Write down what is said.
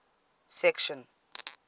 section